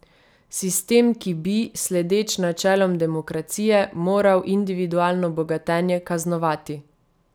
Sistem, ki bi, sledeč načelom demokracije, moral individualno bogatenje kaznovati.